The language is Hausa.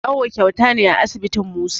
Awo kyauta ne a asibitin Musa